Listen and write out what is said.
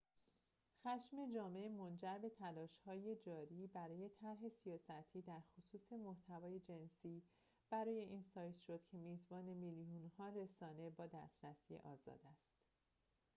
خشم جامعه منجر به تلاش‌های جاری برای طرح سیاستی در خصوص محتوای جنسی برای این سایت شد که میزبان میلیون‌ها رسانه با دسترسی آزاد است